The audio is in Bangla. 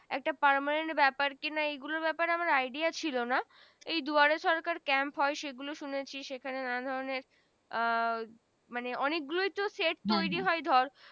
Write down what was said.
একটা permanent ব্যাপার কি না এগুলো ব্যাপার এ আমার Idea ছিলো না এই দুয়ার এ সরকার camp হয় সেগুলো শুনেছি নানা ধরনের আহ মানে অনেক গুলোই তো সেট তৈরি হয় ধর